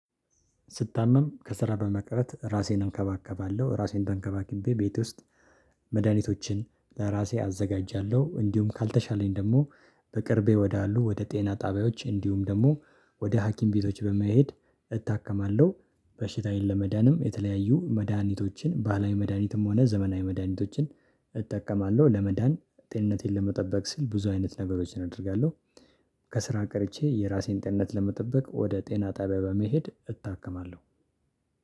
ስታመም ከስራ በመቅረት ራሴን እከባከባለሁ ራሴን ተንከባክቤ ቤት ውስጥ መድሃኒቶችን በራሴ አዘጋጃለሁ እንዲሁም ካልተሻለኝ ደግሞ በቅርቤ ወዳሉ ወደ ጤና ጣቢያዎች እንዲሁም ደግሞ ወደ ሀኪም ቤቶች በመሄድ እታከማለሁ በሽታዬን ለመዳንም የተለያዩ መድሃኒቶችን ባህላዊ መድሃኒትም ሆነ ዘመናዊ መድሃኒቶችን እጠቀማለሁ ለመዳን ጤንነቴን ለመጠበቅ ሲል ብዙ አይነት ነገሮችን አደርጋለሁ። ከስራ ቀርቼ የራሴን ጤናነት ለመጠበቅ ወደ ጤና ጣቢያ በመሄድ እታከማለሁ